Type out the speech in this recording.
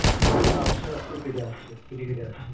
পুরো কেটে আসছে, কেটে কেটে আসছে।